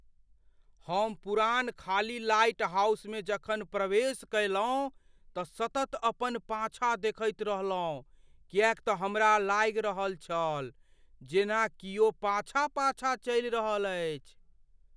हम पुरान खाली लाइटहाउसमे जखन प्रवेश कयलहुँ, तँ सतत अपन पाछाँ देखैत रहलहुँ किएक तँ हमरा लागि रहल छल जेना कियो पाछाँ पाछाँ चलि रहल अछि।